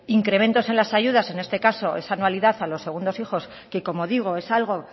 incrementos en las ayudas en este caso esa anualidad a los segundos hijos que como digo es algo